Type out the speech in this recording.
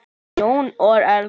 Jón og Erla.